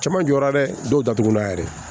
Cɛman jɔra dɛ dɔw datugulan yɛrɛ